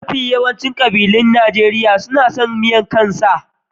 Mafi yawancin kabilun Najeriya na son miyar kan sa.